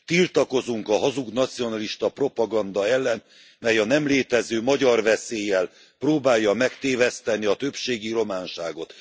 Tiltakozunk a hazug nacionalista propaganda ellen, mely a nem létező magyarveszéllyel próbálja megtéveszteni a többségi románságot.